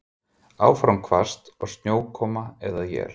Áfram hvasst og snjókoma eða él